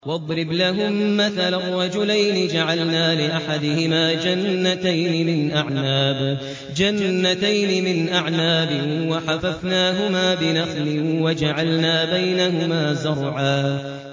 ۞ وَاضْرِبْ لَهُم مَّثَلًا رَّجُلَيْنِ جَعَلْنَا لِأَحَدِهِمَا جَنَّتَيْنِ مِنْ أَعْنَابٍ وَحَفَفْنَاهُمَا بِنَخْلٍ وَجَعَلْنَا بَيْنَهُمَا زَرْعًا